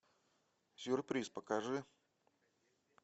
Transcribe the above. сюрприз покажи